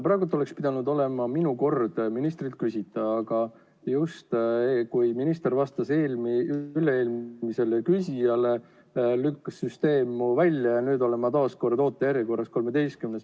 Praegu oleks pidanud olema minu kord ministrilt küsida, aga siis, kui minister vastas üle-eelmisele küsijale, lükkas süsteem mu välja ja nüüd olen ma taaskord ootejärjekorras 13.